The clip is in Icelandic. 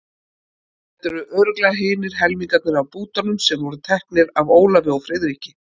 Þetta eru örugglega hinir helmingarnir af bútunum sem voru teknir af Ólafi og Friðriki.